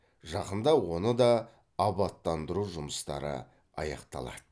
жақында оны да абаттандыру жұмыстары аяқталады